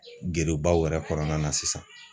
Gerebaw yɛrɛ kɔnɔna na sisan.